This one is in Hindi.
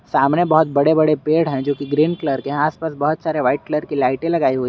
सामने बहुत बड़े बड़े पेड़ हैं जो की ग्रीन कलर के आस पास बहुत व्हाइट कलर की लाइटें लगाई हुई --